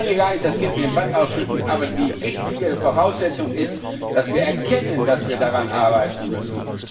Wir wollen hier gar nicht das Kind mit dem Bad ausschütten, aber die wichtige Voraussetzung ist, dass wir erkennen, dass wir daran arbeiten müssen.